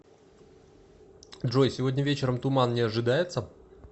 джой сегодня вечером туман не ожидается